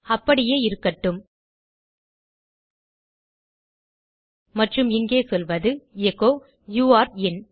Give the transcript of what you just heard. அப்படியே இருக்கட்டும் மற்றும் இங்கே சொல்வது எச்சோ யூரே இன்